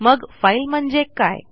मग फाईल म्हणजे काय